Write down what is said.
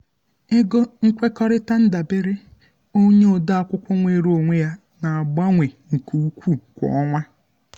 ego nkwekọrịta ndabere onye ode akwụkwọ nweere onwe ya na-agbanwe nke ukwuu kwa ọnwa.